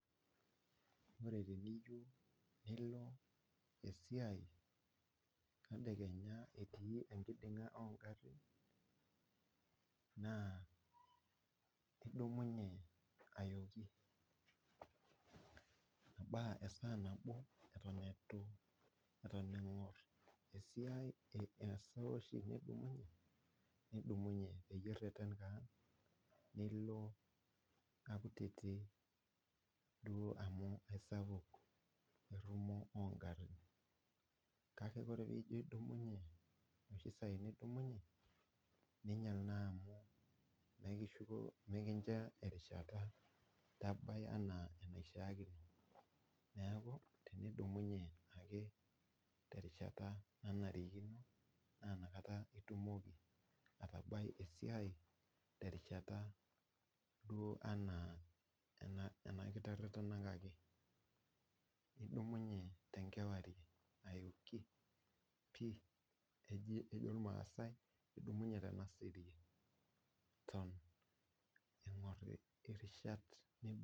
Ore teniyieu nilo esiai tedekenya etii enkiding'a ogarrin, naa idumunye ayooki ebaa esaa nabo eton etu eton eng'or esiai esaa oshi nidumunye peyie irrerren kaan, nilo makutiti nilo amu aisapuk entumo ogarrin. Kake ore pijo adumunye noshi saai nijo adumunye, ninyal naa amu mekincho erishata nabaya enaa enaishaakino. Neeku tenidumunye ake terishata nanarikino, na nakata itumoki atabai esiai terishata duo anaa anakiterrenakaki. Nidumunye tenkewarie ayoki pi, eji ejo irmaasai nidumunye tenasirie, eton eng'or irishat